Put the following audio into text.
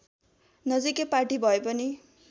नजिकै पाटी भए पनि